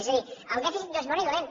és a dir el dèficit no és bo ni dolent